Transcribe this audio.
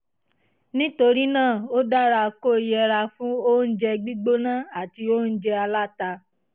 nítorí náà ó dára kó o yẹra fún oúnjẹ gbígbóná àti oúnjẹ aláta